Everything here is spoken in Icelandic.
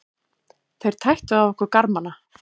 Þeir tættu af okkur garmana.